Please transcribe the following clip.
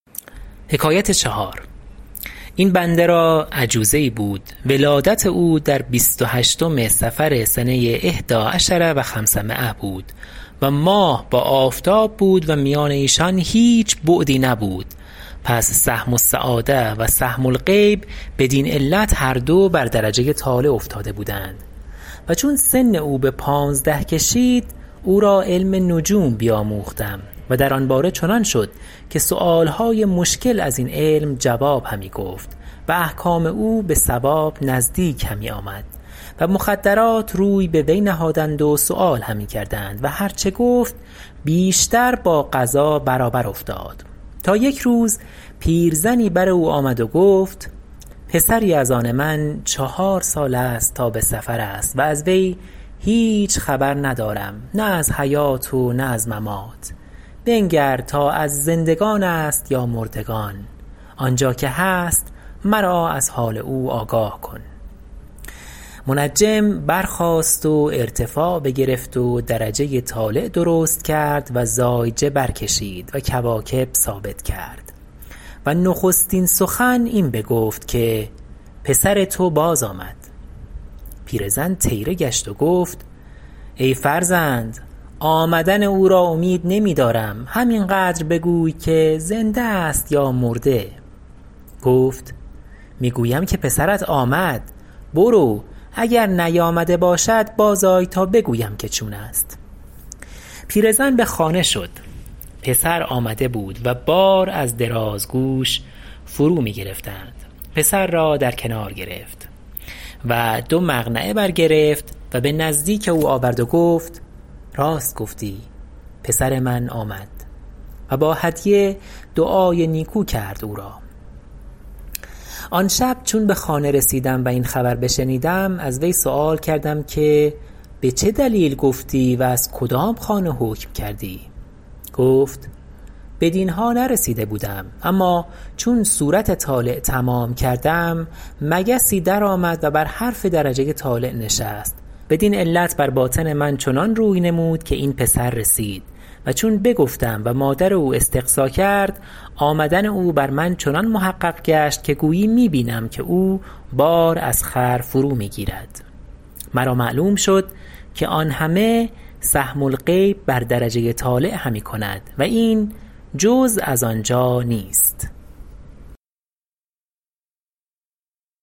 این بنده را عجوزه ای بود ولادت او در بیست و هشتم صفر سنه احدى عشرة و خمسمایة بود و ماه با آفتاب بود و میان ایشان هیچ بعدی نبود پس سهم السعادة و سهم الغیب بدین علت هر دو بر درجه طالع افتاده بودند و چون سن او به پانزده کشید اورا علم نجوم بیاموختم و در آن باره چنان شد که سؤال های مشکل از این علم جواب همی گفت و احکام او به صواب عظیم نزدیک همی آمد و مخدرات روی به وی نهادند و سؤال همی کردند و هر چه گفت بیشتر با قضا برابر افتاد تا یک روز پیرزنی بر او آمد و گفت پسری از آن من چهار سال است تا به سفر است و از وی هیچ خبر ندارم نه از حیات و نه از ممات بنگر تا از زندگان است یا مردگان آنجا که هست مرا از حال او آگاه کن منجم برخاست و ارتفاع بگرفت و درجه طالع درست کرد و زایجه برکشید و کواکب ثابت کرد و نخستین سخن این بگفت که پسر تو باز آمد پیرزن طیره شد و گفت ای فرزند آمدن او را امید نمی دارم همین قدر بگوی که زنده است یا مرده گفت می گویم که پسرت آمد برو اگر نیامده باشد باز آی تا بگویم که چون است پیرزن به خانه شد پسر آمده بود و بار از درازگوش فرو می گرفتند پسر را در کنار گرفت و دو مقنعه برگرفت و به نزدیک او آورد و گفت راست گفتی پسر من آمد و با هدیه دعای نیکو کرد او را آن شب چون به خانه رسیدم و این خبر بشنیدم از وی سؤال کردم که به چه دلیل گفتی و از کدام خانه حکم کردی گفت بدین ها نرسیده بودم اما چون صورت طالع تمام کردم مگسی در آمد و بر حرف درجه طالع نشست بدین علت بر باطن من چنان روی نمود که این پسر رسید و چون بگفتم و مادر او استقصا کرد آمدن او بر من چنان محقق گشت که گویی می بینم که او بار از خر فرو می گیرد مرا معلوم شد که آن همه سهم الغیب بر درجه طالع همی کند و این جز از آنجا نیست